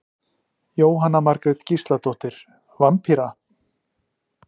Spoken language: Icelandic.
Jóhanna Margrét Gísladóttir: Vampíra?